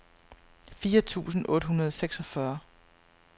fire tusind otte hundrede og seksogfyrre